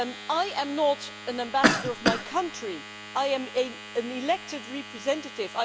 I am not an ambassador for my country, I am an elected representative.